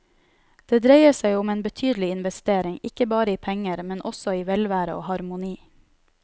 Det dreier seg om en betydelig investering, ikke bare i penger, men også i velvære og harmoni.